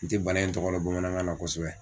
N tɛ bana in tɔgɔ dɔn bamanankan na kosɛbɛ.